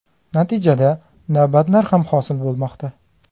Natijada, navbatlar ham hosil bo‘lmoqda.